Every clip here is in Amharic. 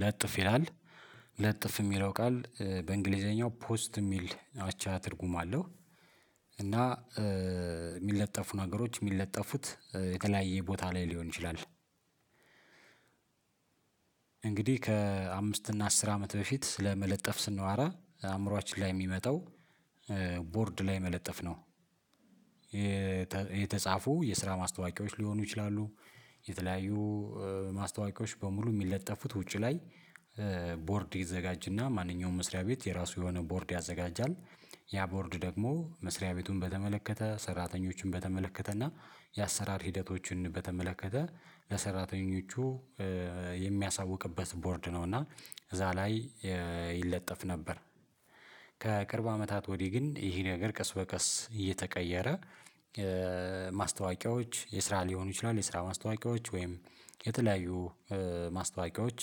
ለጥፍ ይላል ለጥፍ የሚለው ቃል በእንግሊዘኛው ፖስት የሚል አቻ ትርጉም አለው። እና የሚለጠፉ ነገሮች የሚለጠፉት የተለያየ ቦታ ላይ ሊሆን ይችላል። እንግዲህ ከአምስት እና አስር አመት በፊት ስለመለጠፍ ስንዋራ አእምሮአችን ላይ የሚመጣው ቦርድ ላይ መለጠፍ ነው። የተጻፉ የስራ ማስታወቂያዎች ሊሆኑ ይችላሉ የተለያዩ ማስታወቂያዎች በሙሉ የሚለጠፉት ውጪ ላይ። ቦርድ ይዘጋጅና ማንኛውም መስሪያ ቤት የራሱ የሆነ ቦርድ ያዘጋጃል ያ ቦርድ ደግሞ መስሪያ ቤቱን በተመለከተ ሰራተኞችን በተመለከተ እና የአሰራር ሂደቶችን በተመለከተ ለሰራተኞቹ የሚያሳውቅበት ቦርድ ነው እና እዛ ላይ ይለጠፍ ነበር። ከቅርብ አመታት ወዲህ ግን ይህ ነገር ቀስ በቀስ እየተቀየረ። ማስታወቂያዎች የስራ ሊሆኑ ይችላል የስራ ማስታወቂያዎች ወይም የተለያዩ ማስታወቂያዎች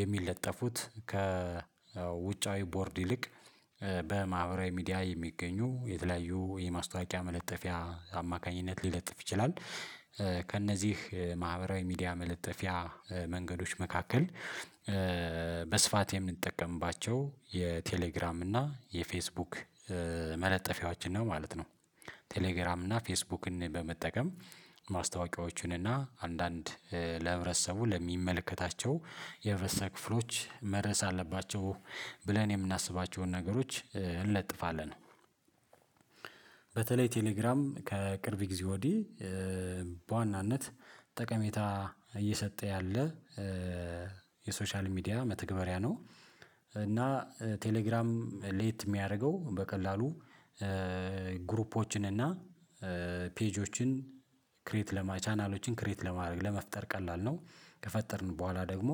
የሚለጠፉት ከ ውጫዊ ቦርድ ይልቅ በማህበራዊ ሚዲያ የሚገኙ የተለያዩ የማስታወቂያ መለጠፊያ አማካኝነት ሊለጥፍ ይችላል። ከእነዚህ ማህበራዊ ሚዲያ መለጠፊያ መንገዶች መካከል በስፋት የምንጠቀምባቸው የቴሌግራም እና የፌስቡክ መለጠፊያዎችን ነው ማለት ነው። ቴሌግራም እና ፌስቡክን በመጠቀም ማስታወቂያዎችንና እና አንዳንድ ለህብረተሰቡ ለሚመለከታቸው የህብረተሰብ ክፍሎች መድረስ አለባቸው ብለን የምናስባቸውን ነገሮች እንለጥፋለን። በተለይ ቴሌግራም ከቅርብ ጊዜ ወዲህ በዋናነት ጠቀሜታ እየሰጠ ያለ የሶሻል ሚዲያ መተግበሪያ ነው። እና ቴሌግራም ለየት የሚያደርገው በቀላሉ ግሩፖችን እና ፔጆችን ክሬት ለማ ቻናሎችን ክሬት ለማድረግ ለመፍጠር ቀላል ነው። ከፈጠርን በኋላ ደግሞ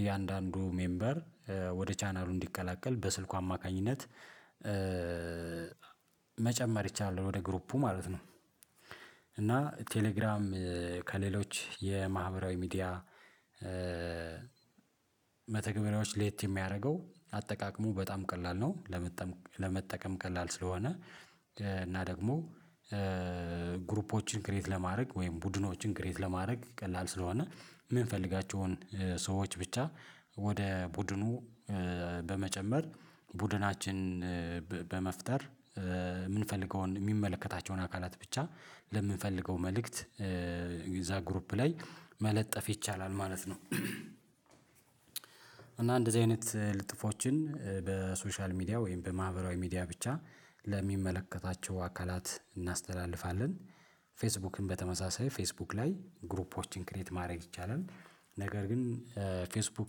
እያንዳንዱ ሜምበር ወደ ቻናሉ እንዲቀላቀል በስልኩ አማካኝነት መጨመር ይቻላል ወደ ግሩፑ ማለት ነው። እና ቴሌግራም ከሌሎች የማህበራዊ ሚዲያ መተግበሪያዎች ለየት የሚያደርገው አጠቃቅሙ በጣም ቀላል ነው። ለመጠቀም ቀላል ስለሆነ እና ደግሞ ግሩፖችን ክሬት ለማድረግ ወይም ቡድኖችን ክሬት ለማድረግ ቀላል ስለሆነ የምንፈልጋቸውን ሰዎች ብቻ ወደ ቡድኑ በመጨመር ቡድናችን በመፍጠር የምንፈልገውን የሚመለከታቸውን አካላት ብቻ ለምንፈልገው መልእክት እዛ ግሩፕ ላይ መለጠፍ ይቻላል ማለት ነው። እና እንደዚህ አይነት ልጥፎችን በሶሻል ሚዲያ ወይም በማህበራዊ ሚዲያ ብቻ ለሚመለከታቸው አካላት እናስተላልፋለን። ፌስቡክን በተመሳሳይ ፌስቡክ ላይ ግሩፖችን ክሬት ማድረግ ይቻላል። ነገር ግን ፌስቡክ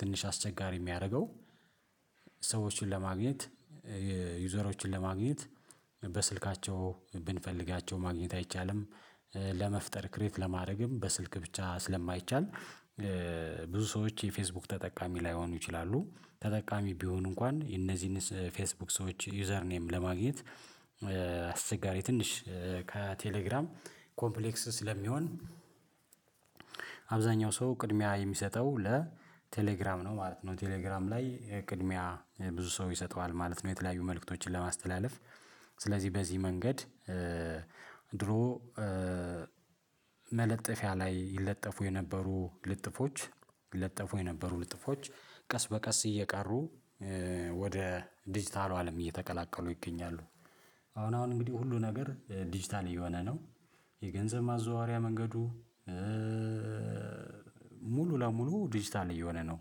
ትንሽ አስቸጋሪ የሚያደርገው ሰዎችን ለማግኘት ዩዘሮችን ለማግኘት በስልካቸው ብንፈልጋቸው ማግኘት አይቻልም። ለመፍጠር ክሬት ለማድረግም በስልክ ብቻ ስለማይቻል ብዙ ሰዎች የፌስቡክ ተጠቃሚ ላይሆኑ ይችላሉ ተጠቃሚ ቢሆኑ እንኳን የነዚህን ፌስቡክ ሰዎች ዩዘር ኔም ለማግኘት አስቸጋሪ ትንሽ ከቴሌግራም ኮምፕሌክስ ስለሚሆን። አብዛኛው ሰው ቅድሚያ የሚሰጠው ለቴሌግራም ነው ማለት ነው። ቴሌግራም ላይ ቅድሚያ ብዙ ሰው ይሰጠዋል ማለት ነው። የተለያዩ መልእክቶችን ለማስተላለፍ ስለዚህ በዚህ መንገድ ድሮ መለጠፊያ ላይ ይለጠፉ የነበሩ ልጥፎች ይለጠፉ የነበሩ ልጥፎች ቀስ በቀስ እየቀሩ ወደ ዲጂታሉ አለም እየተቀላቀሉ ይገኛሉ። አሁን አሁን እንግዲህ ሁሉ ነገር ዲጂታል እየሆነ ነው። የገንዘብ ማዘዋወሪያ መንገዱ ሙሉ ለሙሉ ዲጂታል እየሆነ ነው።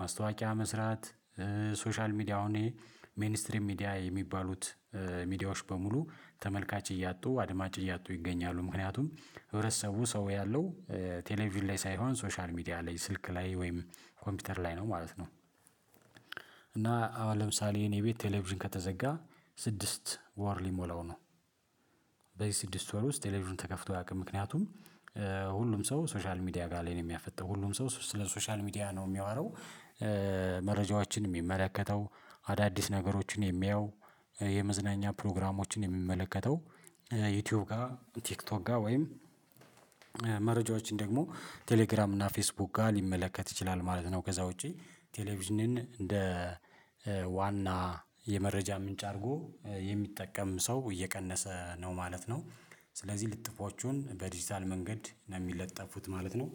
ማስታወቂያ መስራት ሶሻል ሚዲያውን ሜንስትሪም ሚዲያ የሚባሉት ሚዲያዎች በሙሉ ተመልካች እያጡ አድማጭ እያጡ ይገኛሉ። ምክንያቱም ህብረተሰቡ ሰው ያለው ቴሌቪዥን ላይ ሳይሆን ሶሻል ሚዲያ ላይ ስልክ ላይ ወይም ኮምፒውተር ላይ ነው ማለት ነው። እና አሁን ለምሳሌ የኔ ቤት ቴሌቪዥን ከተዘጋ ስድስት ወር ሊሞላው ነው። በዚህ ስድስት ወር ውስጥ ቴሌቪዥን ተከፍቶ አያውቅም። ምክንያቱም ሁሉም ሰው ሶሻል ሚዲያ ጋር ላይ ነው የሚያፈጠው ሁሉም ሰው ስለ ሶሻል ሚዲያ ነው የሚያወራው። መረጃዎችን የሚመለከተው አዳዲስ ነገሮችን የሚያየው የመዝናኛ ፕሮግራሞችን የሚመለከተው ዩቲዩብ ጋር ቲክቶክ ጋር ወይም መረጃዎችን ደግሞ ቴሌግራም እና ፌስቡክ ጋር ሊመለከት ይችላል ማለት ነው። ከዛ ውጪ ቴሌቪዥንን እንደ ዋና የመረጃ ምንጭ አድርጎ የሚጠቀም ሰው እየቀነሰ ነው ማለት ነው። ስለዚህ ልጥፎቹን በዲጂታል መንገድ ነው የሚለጠፉት ማለት ነው።